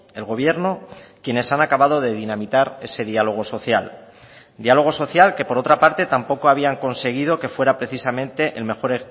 el gobierno quienes han acabado de dinamitar ese diálogo social diálogo social que por otra parte tampoco habían conseguido que fuera precisamente el mejor